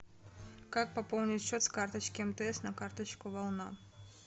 как пополнить счет с карточки мтс на карточку волна